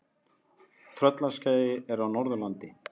Tröllaskagi er á Norðurlandi.